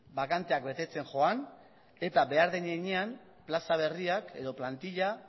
bakanteak betetzen joan eta behar den heinean plaza berriak edo plantila